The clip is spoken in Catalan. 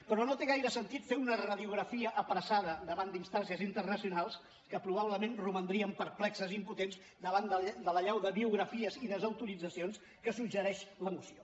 però no té gaire sentit fer una radiografia apressada davant d’instàncies internacionals que probablement romandrien perplexes i impotents davant de l’allau de biografies i desautoritzacions que suggereix la moció